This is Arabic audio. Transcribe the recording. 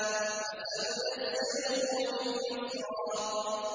فَسَنُيَسِّرُهُ لِلْيُسْرَىٰ